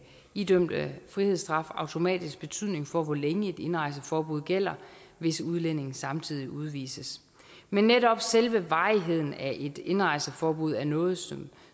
idømte frihedsstraf automatisk betydning for hvor længe et indrejseforbud gælder hvis udlændingen samtidig udvises men netop selve varigheden af et indrejseforbud er noget som